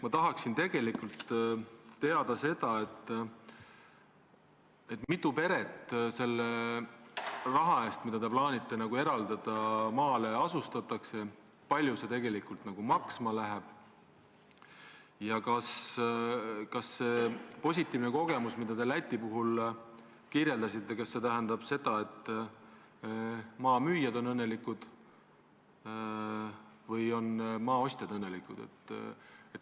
Ma tahaksin tegelikult teada seda, et kui mitu peret selle raha eest, mida te plaanite eraldada, maale asustatakse, kui palju see tegelikult maksma läheb ja kas see positiivne kogemus, mida te Läti puhul kirjeldasite, tähendab, et maa müüjad on õnnelikud või on maa ostjad õnnelikud.